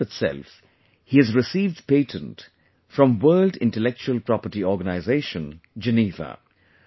This month itself he has received patent from World Intellectual Property Organization, Geneva